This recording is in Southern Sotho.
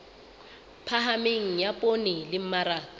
phahameng ya poone le mmaraka